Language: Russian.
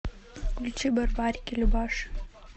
включи барбарики любаши